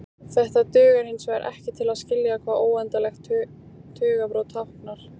Þetta dugar hinsvegar ekki til að skilja hvað óendanlegt tugabrot táknar.